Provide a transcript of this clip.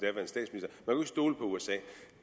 nu at stole på usa